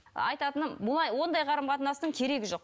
айтататыным бұлай ондай қарым қатынастың керегі жоқ